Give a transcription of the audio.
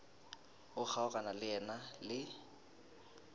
o kgaogana le yena le